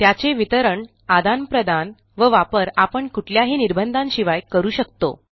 त्याचे वितरण आदानप्रदान व वापर आपण कुठल्याही निर्बंधाशिवाय करू शकतो